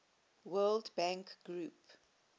world bank group